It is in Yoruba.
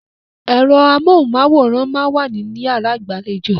Ẹ̀rọ amóhùn-máwòrán máa ń wà ní yàrá ìgbàlejò.